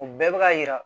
U bɛɛ bɛ ka yira